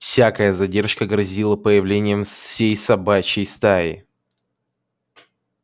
всякая задержка грозила появлением всей собачьей стаи